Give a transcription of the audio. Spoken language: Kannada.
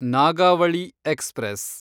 ನಾಗಾವಳಿ ಎಕ್ಸ್‌ಪ್ರೆಸ್